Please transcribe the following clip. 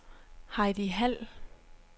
Heidi Hald